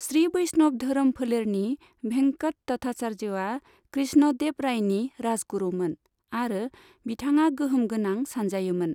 श्री बैष्णव धोरोम फोलेरनि भेंकट तथाचार्यआ कृष्ण देव रायनि राजगुरुमोन, आरो बिथाङा गोहोम गोनां सानजायोमोन।